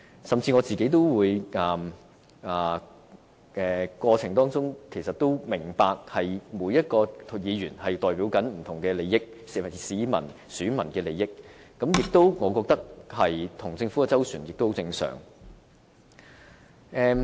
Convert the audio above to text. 甚至我也明白在這個過程中，每一位議員正代表不同市民和選民的利益，我認為跟政府周旋是相當正常。